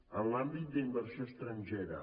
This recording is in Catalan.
en l’àmbit d’inversió estrangera